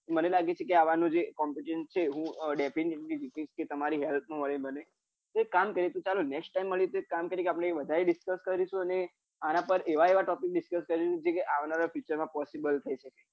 મને લાગે છે કે આવા નું જે competition છે જે ડેફી તમારી help માં મળે મને તો એક કામ કરિએ next time મલિએ તો એ બને વધારે discuss કરીશું અને અન પર એવા એવા topic આવનારા future માં possible થયી સકે